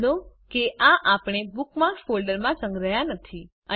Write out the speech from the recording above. નોંધ લો કે આપણે આ બુકમાર્ક્સ ફોલ્ડરમાં સંગ્રહ્યા નથી